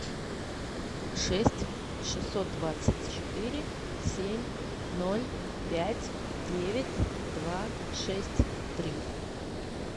шесть шестьсот двадцать четыре семь ноль пять девять два шесть три